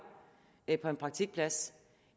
på en praktikplads